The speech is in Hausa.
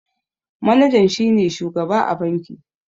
Manajan shi ne shugaba a banki.